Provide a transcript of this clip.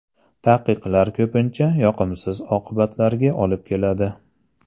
Taqiqlar ko‘pincha yoqimsiz oqibatlarga olib keladi.